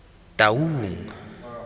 taung